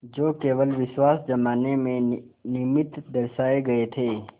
जो केवल विश्वास जमाने के निमित्त दर्शाये गये थे